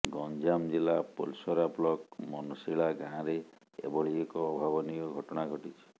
ଗଞ୍ଜାମ ଜିଲ୍ଲା ପୋଲସରା ବ୍ଲକ ମନସିଳା ଗାଁରେ ଏଭଳି ଏକ ଅଭାବନୀୟ ଘଟଣା ଘଟିଛି